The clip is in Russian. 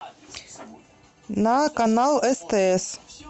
на канал стс